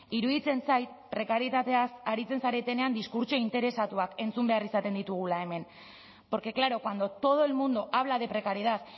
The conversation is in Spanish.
iruditzen zait prekarietateaz aritzen zaretenean diskurtso interesatuak entzun behar izaten ditugula hemen porque claro cuando todo el mundo habla de precariedad